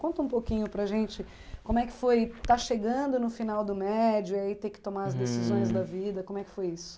Conta um pouquinho para a gente como é que foi estar chegando no final do médio e aí ter que tomar as decisões da vida, como é que foi isso?